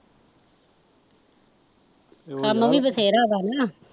ਕੰਮ ਵੀ ਵਧੇਰਾ ਵਾਂ ਨਾ